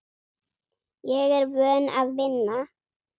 Ég er vön að vinna.